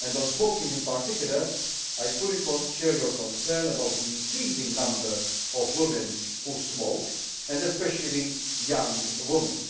in the College. On smoking in particular, I fully share your concern about the increasing number of women who smoke, especially